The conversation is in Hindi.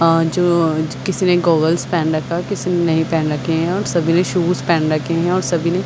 और जो किसी ने गोगल्स पहन रखा है किसी ने नही पेहन रखे है और सभी ने शूज पहन रखे है और सभी ने--